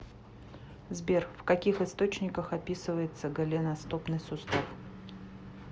сбер в каких источниках описывается голеностопный сустав